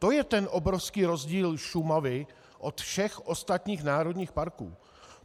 To je ten obrovský rozdíl Šumavy od všech ostatních národních parků.